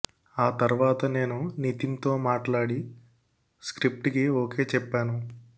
ఆ తర్వాత నేను నితిన్ తో మాట్లాడి స్క్రిప్ట్ కి ఓకే చెప్పాను